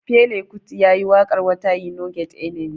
Fela kuti yayi waƙar "water e no get enemy".